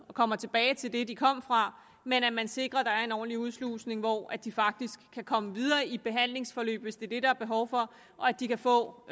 kommer tilbage til det de kom fra men at man sikrer at der er en ordentlig udslusning hvor de faktisk kan komme videre i et behandlingsforløb hvis det er det der er behov for og at de kan få